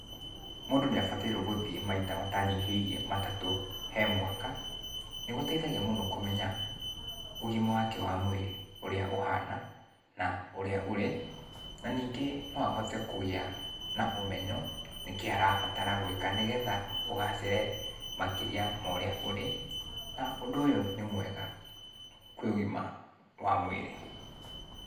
Mundũ nĩabatairũo gũthiĩ maita matanyihĩirie matatu he mwaka. Nĩgũteithagia mũno kũmenya ũgima wake wa mwĩrĩ ũrĩa ũhana, na ũrĩa ũrĩ. Na ningĩ no ahote kũgĩa na ũmenyo, nĩkĩĩ arabatara gũĩka nĩgetha ũgacĩre makĩria ma ũrĩa ũrĩ, na ũndũ ũyũ nĩ mwega kwĩ ũgima wa mwĩrĩ.